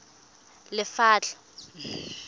lephatla